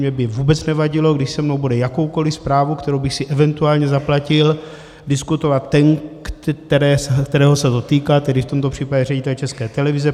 Mně by vůbec nevadilo, když se mnou bude jakoukoliv zprávu, kterou bych si eventuálně zaplatil, diskutovat ten, kterého se to týká, tedy v tomto případě ředitel České televize.